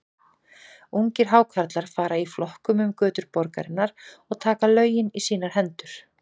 Ungir Hákarlar fara í flokkum um götur borgarinnar og taka lögin í sínar hendur.